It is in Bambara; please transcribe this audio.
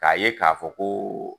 K'a ye k'a fɔ ko